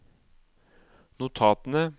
notatene